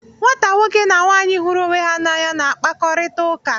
Nwata nwoke na nwaanyị hụrụ onwe ha n'anya na-akpakọrịta ụka.